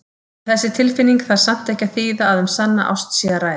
En þessi tilfinning þarf samt ekki að þýða að um sanna ást sé að ræða.